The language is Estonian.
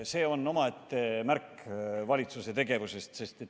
See on omaette märk valitsuse tegevusest.